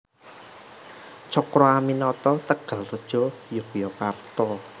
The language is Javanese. Cokroaminoto Tegalrejo Yogyakarta